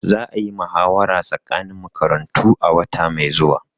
Za a yi muhawara tsakanin makarantu a wata mai zuwa.